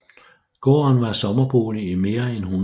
Gården var sommerbolig i mere end 100 år